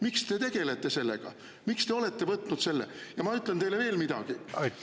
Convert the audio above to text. Miks te tegelete sellega, miks te olete võtnud selle?